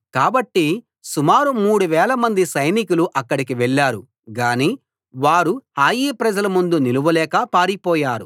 కాబట్టి సుమారు మూడు వేలమంది సైనికులు అక్కడికి వెళ్ళారు గాని వారు హాయి ప్రజల ముందు నిలవలేక పారిపోయారు